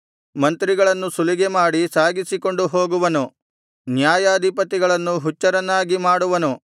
ಮಂತ್ರಿಗಳನ್ನು ಸುಲಿಗೆಮಾಡಿ ಸಾಗಿಸಿಕೊಂಡು ಹೋಗುವನು ನ್ಯಾಯಾಧಿಪತಿಗಳನ್ನು ಹುಚ್ಚರನ್ನಾಗಿ ಮಾಡುವನು